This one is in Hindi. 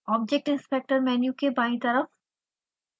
object inspector मेन्यू के बायीं तरफ